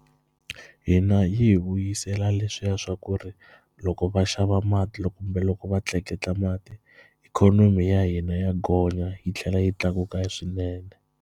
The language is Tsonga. Hina yi hi vuyisela leswiya swa ku ri loko va xava mati kumbe loko va tleketla mati ikhonomi ya hina ya gonya yi tlhela yi tlakuka swinene.